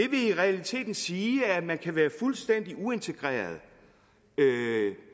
i realiteten sige at man kan være fuldstændig uintegreret